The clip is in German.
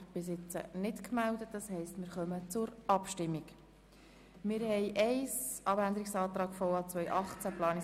Wer dem Abänderungsantrag der FiKo-Minderheit, der Grünen und der SP-JUSO-PSA-Fraktion zustimmen will, stimmt Ja, wer dies ablehnt, stimmt Nein.